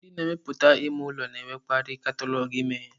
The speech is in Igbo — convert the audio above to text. Ndị na-emepụta ime ụlọ na-enwekarị katalọgụ imewe.